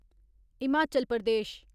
Himachal Pradesh